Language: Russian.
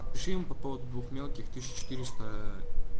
напиши ему по поводу двух мелких тысяча четыреста